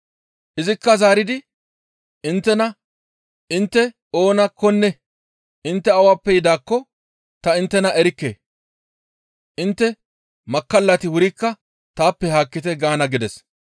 «Izikka zaaridi, ‹Inttena intte oonakkonne intte awappe yidaakko ta inttena erikke; intte makkallati wurikka taappe haakkite› gaana gides.